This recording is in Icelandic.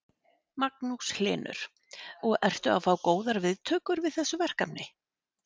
Magnús Hlynur: Og ertu að fá góðar viðtökur við þessu verkefni?